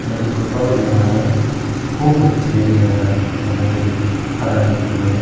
te ibot olode mane puo pocchede dega jar mane ret posterani tullonne.